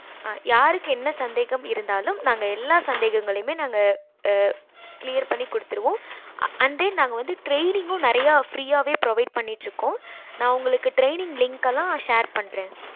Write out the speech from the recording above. ஆஹ் யாருக்கு என்ன சந்தேகம் இருந்தாலும் நாங்க எல்லா சந்தேகங்களையும் நாங்க clear பண்ணி குடுத்திருவோம்